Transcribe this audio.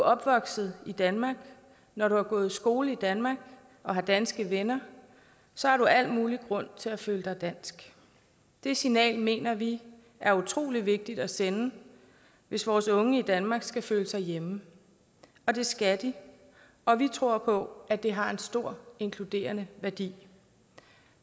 opvokset i danmark når du har gået i skole i danmark og har danske venner så har du al mulig grund til at føle dig dansk det signal mener vi er utrolig vigtigt at sende hvis vores unge i danmark skal føle sig hjemme og det skal de og vi tror på at det har en stor inkluderende værdi